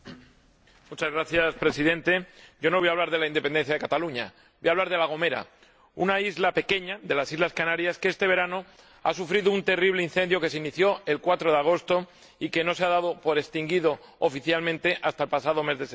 Señor Presidente, yo no voy a hablar de la independencia de Cataluña, voy a hablar de La Gomera, una isla pequeña de las Islas Canarias, que este verano ha sufrido un terrible incendio que se inició el 4 de agosto y que no se dio oficialmente por extinguido hasta el pasado mes de septiembre.